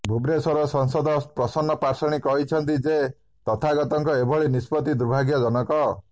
ଭୁବନେଶ୍ବର ସାଂସଦ ପ୍ରସନ୍ନ ପାଟ୍ଟଶାଣୀ କହିଛନ୍ତି ଯେ ତଥାଗତଙ୍କ ଏଭଳି ନିଷ୍ପତ୍ତି ଦୁର୍ଭାଗ୍ୟଜନକ